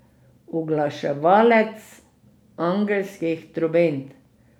Uglaševalec angelskih trobent.